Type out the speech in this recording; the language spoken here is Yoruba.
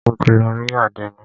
Mo ti lọ rí àdénì.